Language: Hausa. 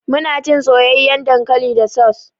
Ana cin soyayyan dankali da saus.